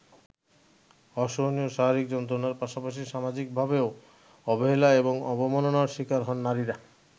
অসহনীয় শারীরিক যন্ত্রণার পাশাপাশি সামাজিকভাবেও অবহেলা এবং অবমাননার শিকার হন নারীরা।